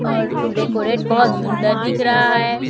और डेकोरेट बहोत सुंदर दिख रहा है।